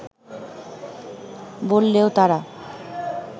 বললেও তারা